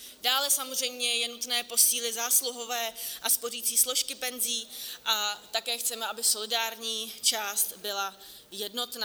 Dále samozřejmě je nutné posílit zásluhové a spořicí složky penzí a také chceme, aby solidární část byla jednotná.